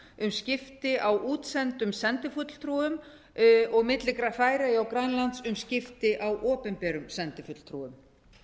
um skipti á útsendum sendifulltrúum og milli færeyja og grænlands um skipti á opinberum sendifulltrúum